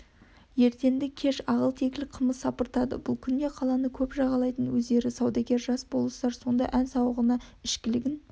ертенді-кеш ағыл-тегіл қымыз сапыртады бұл күнде қаланы көп жағалайтын өздері саудагер жас болыстар сонда ән-сауығына ішкілігін